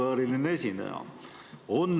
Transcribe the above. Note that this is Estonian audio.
Auvääriline esineja!